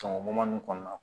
Sɔngɔ nunnu kɔnɔna na